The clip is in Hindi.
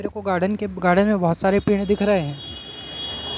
देखो गार्डन के गार्डन मैं बहोत सारे पेड़ दिख रहे हैं।